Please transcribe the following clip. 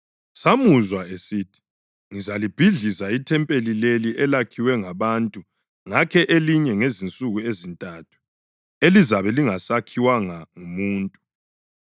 “Samuzwa esithi, ‘Ngizalibhidliza ithempeli leli, elakhiwe ngabantu ngakhe elinye ngezinsuku ezintathu, elizabe lingasakhiwanga ngumuntu.’ ”